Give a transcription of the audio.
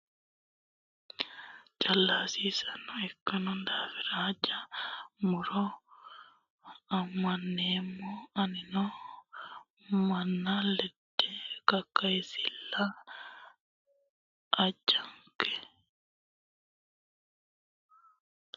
Caalu hasiisanoho ikkino daafira haanja muro caalunitta kayinse fushira hasiisanonke baalinke qae qaenkera yee ammaneemmo anino manna lende kakkayisalla ajonke.